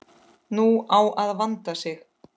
Nú á að vanda sig.